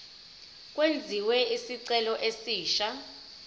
kwenziwe isicelo esisha